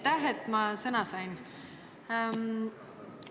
Aitäh, et ma sõna sain!